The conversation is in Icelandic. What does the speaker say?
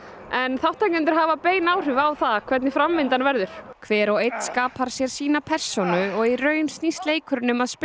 en þáttakendur hafa bein áhrif á það hvernig framvindan verður hver og einn skapar sér sína persónu og í raun snýst leikurinn um að spinna